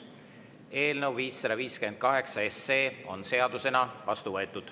Eelnõu 558 on seadusena vastu võetud.